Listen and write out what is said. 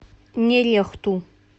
нерехту